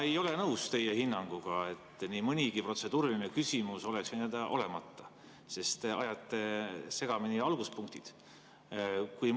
Ma ei ole nõus teie hinnanguga, et nii mõnigi protseduuriline küsimus oleks võinud olla olemata, sest te ajate segamini alguspunktid.